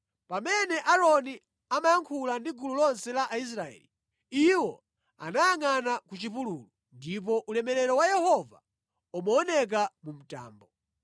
Pamene Aaroni amayankhula ndi gulu lonse la Aisraeli, iwo anayangʼana ku chipululu, ndipo ulemerero wa Yehova umaoneka mu mtambo.